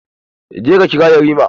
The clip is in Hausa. Je ka kira yarima!